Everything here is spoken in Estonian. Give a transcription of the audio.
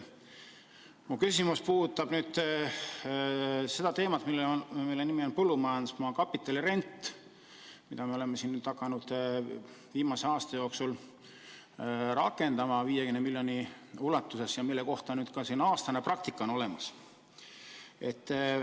Mu küsimus puudutab põllumajandusmaa kapitalirenti, mida me oleme nüüd viimase aasta jooksul hakanud rakendama 50 miljoni euro ulatuses ja mille kohta ka aastane praktika on olemas.